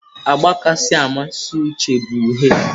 Agba kacha amasị Uche bụ uhie.